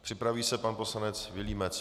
Připraví se pan poslanec Vilímec.